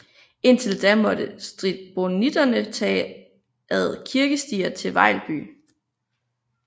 Indtil da måtte stribonitterne tage ad kirkestier til Vejlby